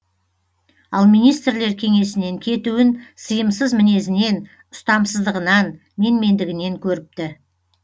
ал министрлер кеңесінен кетуін сыйымсыз мінезінен ұстамсыздығынан менмендігінен көріпті